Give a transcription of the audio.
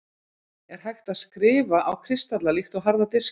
er hægt að „skrifa“ á kristalla líkt og harða diska